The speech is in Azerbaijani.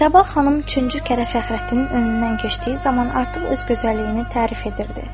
Sabah xanım üçüncü kərə Fəxrəddinin önündən keçdiyi zaman artıq öz gözəlliyini tərif edirdi.